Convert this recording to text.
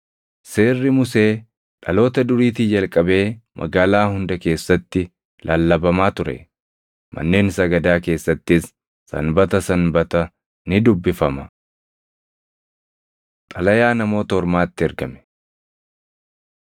Seerri Musee dhaloota duriitii jalqabee magaalaa hunda keessatti lallabamaa ture; manneen sagadaa keessattis Sanbata Sanbata ni dubbifama.” Xalayaa Namoota Ormaatti Ergame